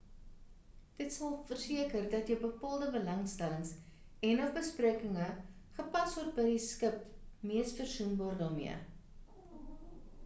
dit sal verseker dat jou bepaalde belangstellings en/of beperkinge gepas word by die skip mees versoenbaar daarmee